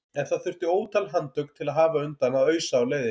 En það þurfti ótal handtök til að hafa undan að ausa á leiðinni.